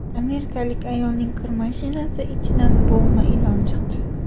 Amerikalik ayolning kir mashinasi ichidan bo‘g‘ma ilon chiqdi.